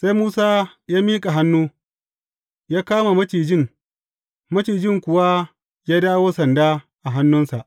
Sai Musa ya miƙa hannu, ya kama macijin, macijin kuwa ya dawo sanda a hannunsa.